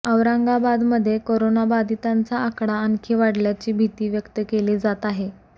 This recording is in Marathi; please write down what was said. औरंगाबादमध्ये कोरोनाबाधितांचा आकडा आणखी वाढण्याची भीती व्यक्त केली जात आहे